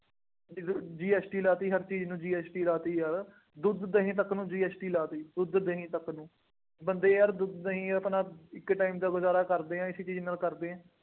ਅਤੇ ਫਿਰ GST ਲਾ ਦਿੱਤੀ, ਹਰ ਚੀਜ਼ ਨਾਲ GST ਲਾ ਦਿੱਤੀ ਯਾਰ, ਦੁੱਧ, ਦਹੀਂ ਤੱਕ ਨੂੰ GST ਲਾ ਦਿੱਤੀ, ਦੁੱਧ-ਦਹੀਂ ਤੱਕ ਨੂੰ, ਬੰਦੇ ਯਾਰ ਦੁੱਧ-ਦਹੀਂ ਆਪਣਾ ਇੱਕ time ਦਾ ਗੁਜ਼ਾਰਾ ਕਰਦੇ ਆ, ਇਸੀ ਚੀਜ਼ ਨਾਲ ਕਰਦੇ ਆ।